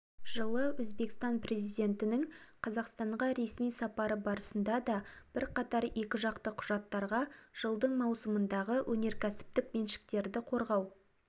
жылы өзбекстан президентінің қазақстанға ресми сапары барысында да бірқатар екіжақты құжаттарға жылдың маусымындағы өнеркәсіптік меншіктерді қорғау